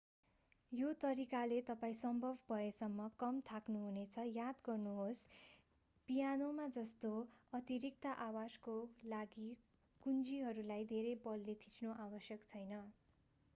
यो तरिकाले तपाईं सम्भव भएसम्म कम थाक्नुहुनेछ याद गर्नुहोस् पियानोमा जस्तो अतिरिक्त आवाजको लागि कुञ्जीहरूलाई धेरै बलले थिच्नु आवश्यक छैन